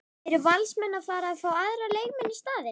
Eru Valsmenn að fara að fá aðra leikmenn í staðinn?